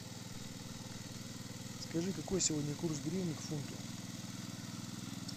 скажи какой сегодня курс гривны к фунту